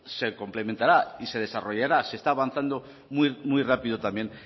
se complementará y se desarrollará se está avanzando muy rápido también